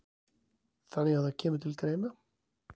Þannig að það kemur til greina?